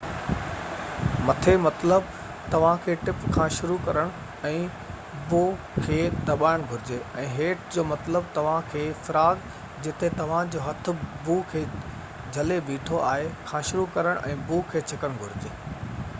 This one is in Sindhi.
مٿي مطلب توهان کي ٽپ کان شروع ڪرڻ ۽ بو کي دٻائڻ گهرجي، ۽ هيٺ جو مطلب توهان کي فراگ جتي توهان جو هٿ بو کي جهلي بيٺو آهي کان شروع ڪرڻ ۽ بو کي ڇڪڻ گهرجي